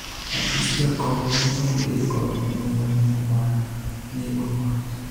Apis jakom ne onge kod muya no mar nego mach